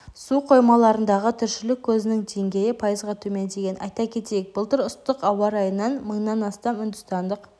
су қоймаларындағы тіршілік көзінің деңгейі пайызға төмендеген айта кетейік былтыр ыстық ауа райынан мыңнан астам үндістандық